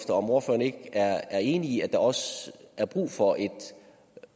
om ordføreren ikke er enig i at der også er brug for et